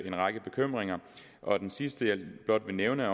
en række bekymringer og den sidste jeg blot vil nævne er